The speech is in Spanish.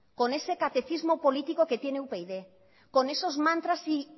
con ese catecismo político que tiene upyd con esos mantras y